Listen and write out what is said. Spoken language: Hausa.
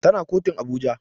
Tana kotun Abuja